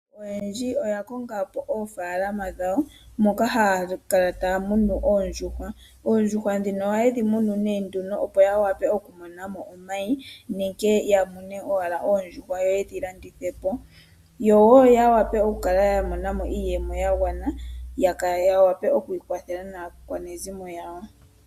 Aantu oyendji oya kongapo oofalama dhawo, moka haya kala taya munu oondjuhwa. Oondjuhwa dhika oha yedhi munu nduno opo ya vule oku monamo omayi nenge ya mone wala oondjuhwa yo yedhi landithepo, yo wo vule oku monamo iiyemo ya gwana, ya vule okwi kwathela naakwanezimo yawo.